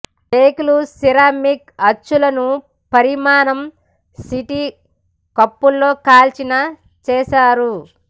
కేకులు సిరామిక్ అచ్చులను పరిమాణం సి టీ కప్పు లో కాల్చిన చేశారు